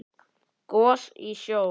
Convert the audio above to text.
Gos í sjó